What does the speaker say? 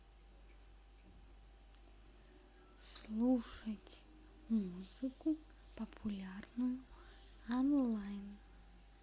слушать музыку популярную онлайн